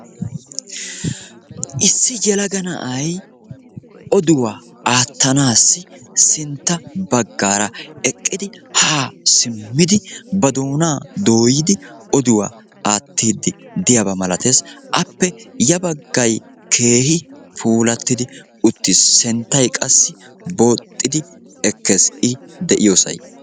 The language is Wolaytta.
Issi yeelaga na'aay oduwaa attanasi sintta baggara eqqidi ha simmidi ba doona dooyidi oduwaa aatidide'iyaba maalates. Appe ya baggay keehi puulatidi uttis. Sinttay qassi booxxidi ekees I de'iyosay.